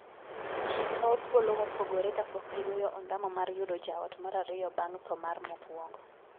Jii kawo thuolo mopogore kapok gigoyo ondamo mar yudo jaot mar ariyo bang' thoo mar mokuongo.